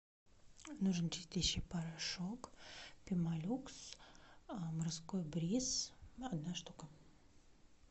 нужен чистящий порошок пемолюкс морской бриз одна штука